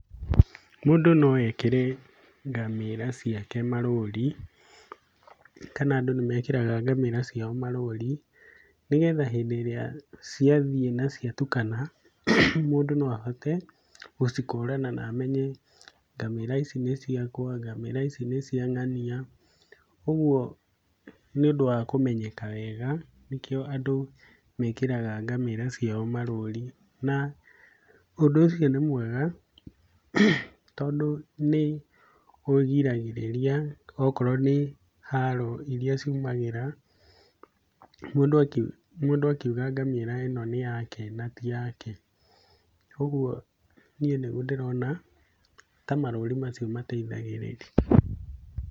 Mũndũ no ekĩre ngamĩra ciake marũri kana andũ nĩmekĩraga ngamĩra ciao marũri, nĩgetha hĩndĩ ĩrĩa ciathiĩ na ciatukana mũndũ no ahote gũcikũrana na amenye ngamĩra ici nĩ ciakwa, ngamĩra ici nĩ cia ngania, ũguo nĩũndũ wa kũmenyeka wega nĩkĩo andũ mekĩraga ngamĩra ciao marũri, na ũndũ ũcio nĩ mwega tondũ nĩũgiragĩrĩria okorwo nĩ haro iria ciumagĩra mũndũ aki mũndũ akiuga ngamĩra ĩno nĩ yake na ti yake, ũguo niĩ nĩguo ndĩrona ta marũri macio mateithagĩrĩria.